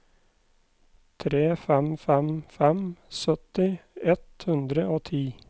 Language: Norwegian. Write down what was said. tre fem fem fem sytti ett hundre og ti